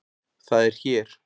Það er hér.